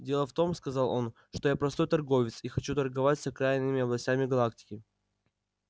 дело в том сказал он что я простой торговец и хочу торговать с окраинными областями галактики